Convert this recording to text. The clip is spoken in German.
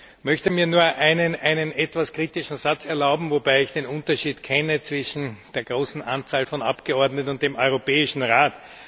Ich möchte mir nur einen etwas kritischen Satz erlauben, wobei ich den Unterschied kenne zwischen der großen Anzahl von Abgeordneten und dem Europäischen Rat.